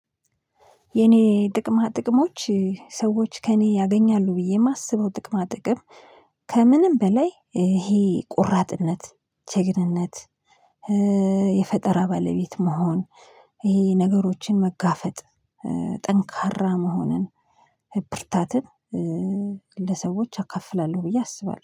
የኔ ጥቅማ ጥቅሞች ሰዎች ከእኔ ያገኛሉ ብዬ የማስበው ጥቅማ ጥቅም ከምንም በላይ ይሄ ቁራጥነት ጀግንነት የፈጠራ ባለቤት መሆን። ይሄ ነገሮችን መጋፈጥ። ጠንካራ መሆንን ብርታትን ለሰዎች አከፍላለሁ ብዬ አስባለሁ